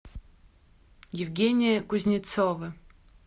евгения кузнецова